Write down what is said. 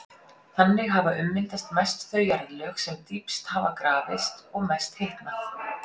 Þannig hafa ummyndast mest þau jarðlög sem dýpst hafa grafist og mest hitnað.